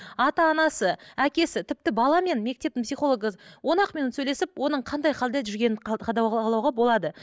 ата анасы әкесі тіпті бала мен мектептің психологы он ақ минут сөйлесіп оның қандай халде жүргенін болады